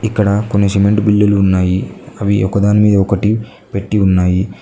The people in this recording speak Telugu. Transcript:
ఇక్కడ కొన్ని సిమెంట్ బిల్లులు ఉన్నాయి అవి ఒక దాని మీద ఒకటి పెట్టి ఉన్నాయి.